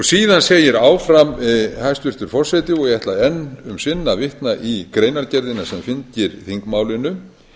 síðan segir áfram hæstvirtur forseti og ég ætla enn um sinn að vitna í greinargerðina sem fylgir þingmálinu